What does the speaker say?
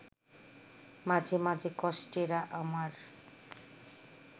মাঝে মাঝে কষ্টেরা আমার